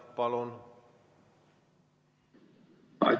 Palun!